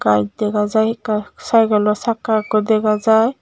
bike dega jai ekka cykelo sakka ekko dega jai.